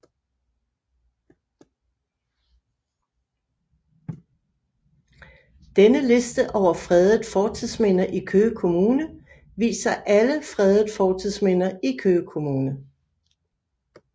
Denne liste over fredede fortidsminder i Køge Kommune viser alle fredede fortidsminder i Køge Kommune